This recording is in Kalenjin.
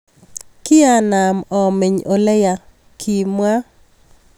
Kianam ameny ole ya, kimwa .